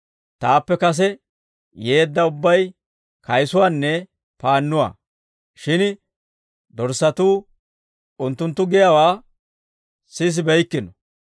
Taappe kase yeedda ubbay kayisuwaanne paannuwaa; shin dorssatuu unttunttu giyaawaa sisibeykkino.